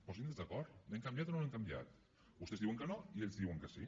posinse d’acord l’hem canviat o no l’hem canviat vostès diuen que no i ells diuen que sí